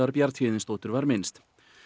Bjarnhéðinsdóttur var minnst